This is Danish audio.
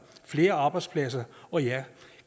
flere arbejdspladser og ja